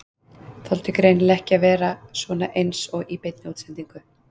Þoldi greinilega ekki að vera svona eins og í beinni útsendingu.